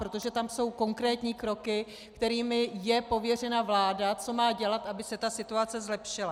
Protože tam jsou konkrétní kroky, kterými je pověřena vláda, co má dělat, aby se ta situace zlepšila.